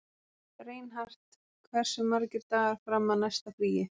Reinhart, hversu margir dagar fram að næsta fríi?